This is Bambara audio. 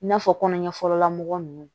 I n'a fɔ kɔnɔ ɲɛfɔlɔla mɔgɔ nunnu